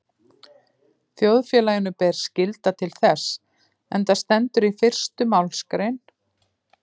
Þjóðfélaginu ber skylda til þess, enda stendur í fyrstu málsgrein